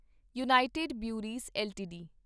United Breweries LTD